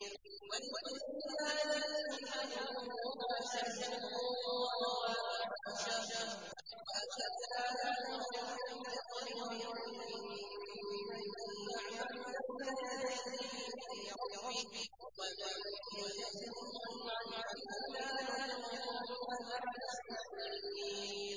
وَلِسُلَيْمَانَ الرِّيحَ غُدُوُّهَا شَهْرٌ وَرَوَاحُهَا شَهْرٌ ۖ وَأَسَلْنَا لَهُ عَيْنَ الْقِطْرِ ۖ وَمِنَ الْجِنِّ مَن يَعْمَلُ بَيْنَ يَدَيْهِ بِإِذْنِ رَبِّهِ ۖ وَمَن يَزِغْ مِنْهُمْ عَنْ أَمْرِنَا نُذِقْهُ مِنْ عَذَابِ السَّعِيرِ